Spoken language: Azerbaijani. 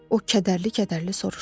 O kədərli-kədərli soruşdu.